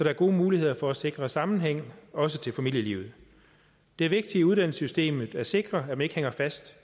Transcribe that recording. er gode muligheder for at sikre sammenhæng også til familielivet det er vigtigt i uddannelsessystemet at sikre at man ikke hænger fast